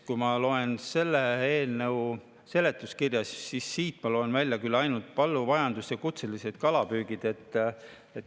Kui ma loen selle eelnõu seletuskirja, siis siit ma loen välja küll ainult põllumajanduse ja kutselise kalapüügi.